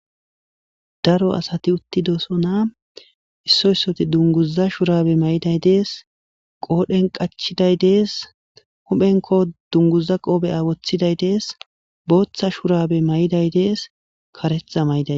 daro asati uttidosona issoysoti dunguza shurabe may7iday dees qoodhen qachiday dees huphenko dunguza qoobeya woththiday dees booththa shurabe may7iday dees karetha may7iday